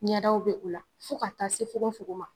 Ɲɛdaw be o la, fo ka taa se fugonfugon ma